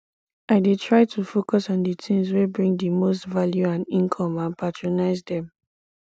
i dey try to focus on di tings wey bring di most value and income and prioritize dem